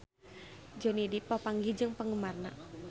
Johnny Depp papanggih jeung penggemarna